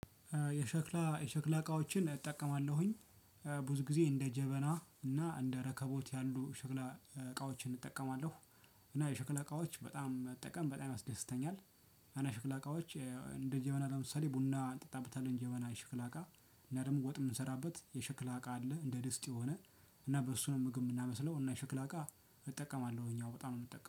የሸክላ የሸክላ እቃዎችን እጠቀማለሁኝ። ብዙ ጊዜ እንደ ጀበና እና እንደ ረከቦት ያሉ ሸክላ እቃዎችን እጠቀማለሁ። እና የሽክላ እቃዎች በጣም መጠቀም በጣም ያስደስተኛል። አና ሽክላ እቃዎች እንደ ጀበና ለምሳሌ ቡና እንጠጣበታለን ጀበና ሽክላ እቃ እና ደግሞ ወጥ የምንሰራበት የሽክላ እቃ አለ። እንደ ድስት የሆነ እና በሱ ነው ምግብ የምናበስለው። እና ሽክል አቃ እጠቀማለሁኝ አወ በጣም ነው የምጠቀመው